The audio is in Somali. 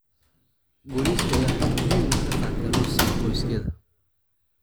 Booliiska ayaa xog muhiim ah ka qaatay Rose iyo qoyskeeda.